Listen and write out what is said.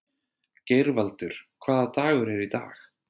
Geirvaldur, hvaða dagur er í dag?